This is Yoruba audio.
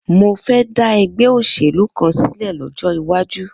Mo fẹ́ dá ẹgbẹ́ òṣèlú kan sílẹ̀ lọ́jọ́ iwájú.